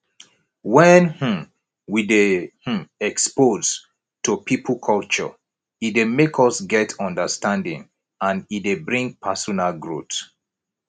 when um we dey um exposed to pipo culture e dey make us get understanding and e dey bring personal growth